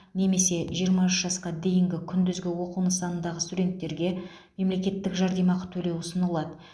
немесе жиырма үш жасқа дейінгі күндізгі оқу нысанындағы студенттерге мемлекеттік жәрдемақы төлеу ұсынылады